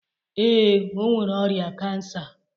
Ee, o nwere ọrịa kansa.